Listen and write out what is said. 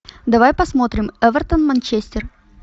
давай посмотрим эвертон манчестер